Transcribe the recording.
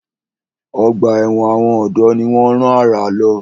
Ọgbà ẹ̀wọ̀n àwọn ọ̀dọ́ ni wọ́n rán àrà lọ.